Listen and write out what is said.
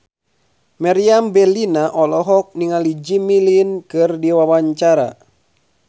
Meriam Bellina olohok ningali Jimmy Lin keur diwawancara